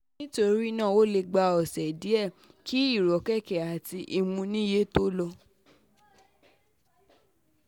nítorí náà ó lè gba ọ̀sẹ̀ díẹ̀ kí ìrọ́kẹ̀kẹ̀ àti ìmúniníyè tó lọ